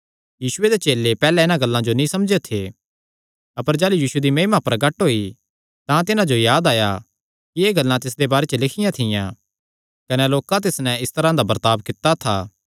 यीशुये दे चेले पैहल्लैं इन्हां गल्लां जो नीं समझेयो थे अपर जाह़लू यीशु दी महिमा प्रगट होई तां तिन्हां जो याद आया कि एह़ गल्लां तिसदे बारे च लिखियां थियां कने लोकां तिस नैं इस तरांह दा बर्ताब कित्ता था